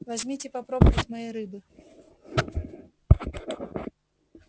возьмите попробовать моей рыбы